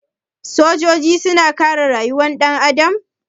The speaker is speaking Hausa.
Sojoji suna kare rayukan ɗan adam?